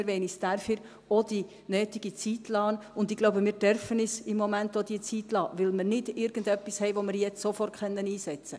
Wir wollen uns dafür auch die nötige Zeit lassen, und ich denke, wir dürfen uns im Moment diese Zeit auch lassen, weil wir nicht irgendetwas haben, das wir jetzt sofort einsetzen können.